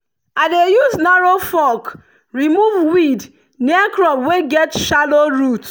i dey use narrow fork remove weed near crop wey get shallow root.